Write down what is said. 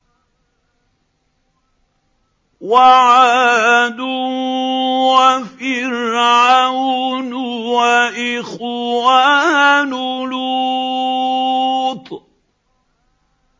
وَعَادٌ وَفِرْعَوْنُ وَإِخْوَانُ لُوطٍ